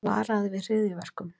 Varaði við hryðjuverkum